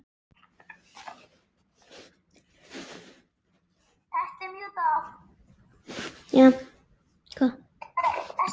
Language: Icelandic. Eruð þið þarna uppi!